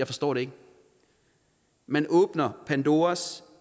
forstår det man åbner pandoras